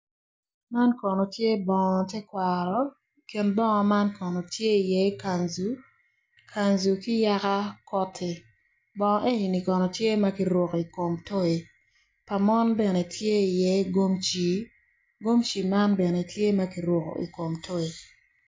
Man kono tye bongo ter kwaro i kin bongo man kono tye i ye kanzu, kanzu ki yaka koti bongo enini kono tye ma kiruko i kom toy pa mon bene tye i ye gomci, gomci man bene tye maki ruko i kom toy.